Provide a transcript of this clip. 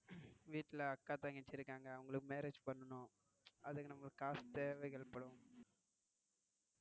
வீட்டில அக்கா தங்கச்சி இருகாங்க அவங்களுக்கு marriage பண்ணனும் அதுக்காக நமக்கு காசு தேவைகள் படும்.